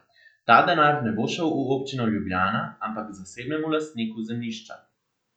Ta denar ne bo šel v občino Ljubljana, ampak k zasebnemu lastniku zemljišča.